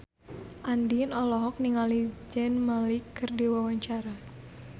Andien olohok ningali Zayn Malik keur diwawancara